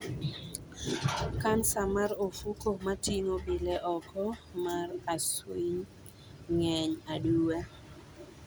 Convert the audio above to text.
Kansa mar ofuku matingo bile oko mar acwiny ng'eny aduwa.